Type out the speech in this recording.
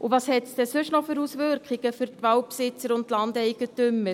Und welche Auswirkungen hat es denn sonst noch für die Waldbesitzer und Landeigentümer?